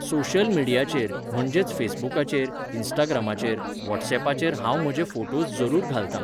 Social मिडियाचेर म्हणजेच फेसबुकाचेर, इन्स्टाग्रामाचेर, वॉट्सॅपाचेर हांव म्हजे फोटोज जरूर घालतां.